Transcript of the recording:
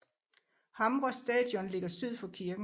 Hamre Stadion ligger syd for kirken